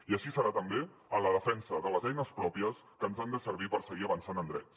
i així serà també en la defensa de les eines pròpies que ens han de servir per seguir avançant en drets